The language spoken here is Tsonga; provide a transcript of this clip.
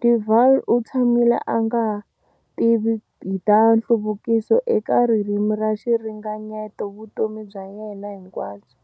De Wahl u tshamile a nga tivi hi ta nhluvukiso eka ririmi na xiringanyeto vutomi bya yena hinkwabyo.